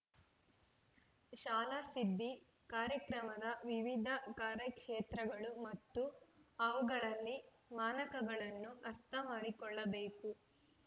ಶಾಲಾಸಿದ್ದಿ ಕಾರ್ಯಕ್ರಮದ ವಿವಿಧ ಕಾರ್ಯಕ್ಷೇತ್ರಗಳು ಮತ್ತು ಅವುಗಳಲ್ಲಿ ಮಾನಕಗಳನ್ನು ಅರ್ಥಮಾಡಿಕೊಳ್ಳಬೇಕು